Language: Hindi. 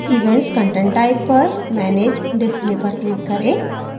events content type पर manage display पर click करें